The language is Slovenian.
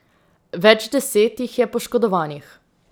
Več deset jih je poškodovanih.